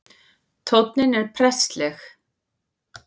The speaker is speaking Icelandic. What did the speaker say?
Tónninn er prestleg